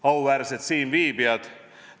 Auväärsed siinviibijad!